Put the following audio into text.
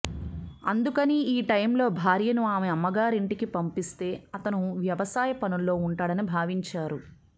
అందుకని ఈ టైమ్ లో భార్యను ఆమె అమ్మగారింటికి పంపిస్తే అతను వ్యవసాయ పనుల్లో ఉంటాడని భావించేవారు